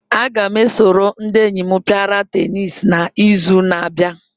Aga m eso ndị enyi m pịara teniisi n'izu na-abịa.